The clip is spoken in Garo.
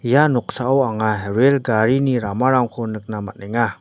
ia noksao anga rel garini ramarangko nikna man·enga.